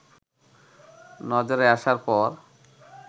নজরে আসার পর